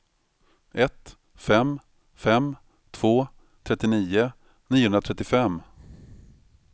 ett fem fem två trettionio niohundratrettiofem